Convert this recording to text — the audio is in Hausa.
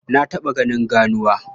Na taɓa ganin ganuwa.